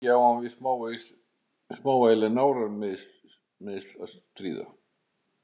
Þar að auki á hann við smávægileg nárameiðsli að stríða.